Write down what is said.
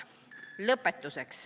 " Lõpetuseks.